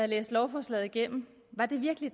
læst lovforslaget igennem var det virkelig